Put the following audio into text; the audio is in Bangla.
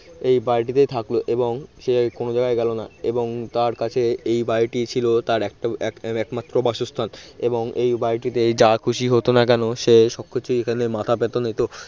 এই বাড়িটিতে থাকল এবং সে আর কোন জায়গায় গেল না এবং তার কাছে এই বাড়িটিই ছিল তার এক একমাত্র বাসস্থান এবং এই বাড়িটিতে যা খুশি হোত না কেন সে সবকিছু এখানে মাথা পেতে নিত